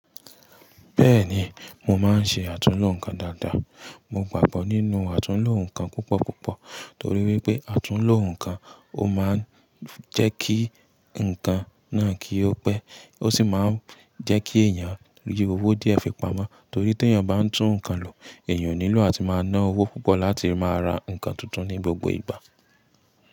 Bẹ́ẹ̀ni, mo máa ń ṣe àtúnlo nǹkan dáadáa. Mo gbàgbọ́ nínú àtúnlo nǹkan púpọ̀púpọ̀ torí wípé àtúnlo nǹkan ó máa ń jẹ́ kí nǹkan náà kí ó pẹ́, ó sì máa ń jẹ́ kí èèyàn rí owó díẹ̀ fi pamọ́ torí tí èèyàn bá ń tún nǹkan lò, èèyàn nílò àti máa ná owó púpọ̀ láti máa ra nǹkan tuntun ní gbogbo ìgbà.